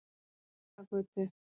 Bragagötu